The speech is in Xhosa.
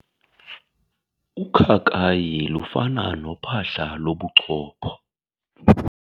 Ukhakayi lufana nophahla lobuchopho.